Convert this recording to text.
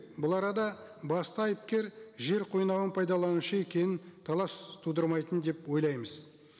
бұл арада басты айыпкер жер қойнауын пайдаланушы екенін талас тудырмайтын деп ойлаймыз